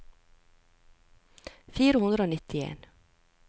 fire hundre og nittien